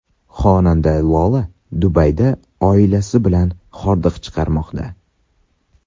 Xonanda Lola Dubayda oilasi bilan hordiq chiqarmoqda.